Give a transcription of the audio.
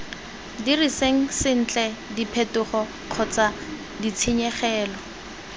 diriseng sentle diphetogo kgotsa ditshenyegelo